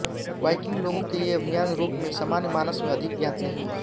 Viking लोगों के ये अभियान यूरोप में सामान्य मानस में अधिक ज्ञात नहीं हुआ